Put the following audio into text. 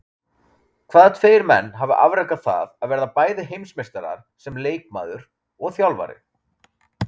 Hvaða tveir menn hafa afrekað það að verða bæði heimsmeistarar sem leikmaður og þjálfari?